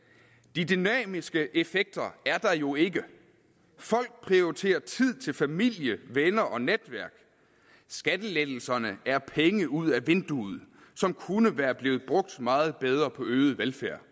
de dynamiske effekter er der jo ikke folk prioriterer tid til familie venner og netværk skattelettelserne er penge ud af vinduet som kunne være blevet brugt meget bedre på øget velfærd